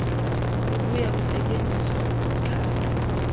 buya kusetyenziswa ukuxhasa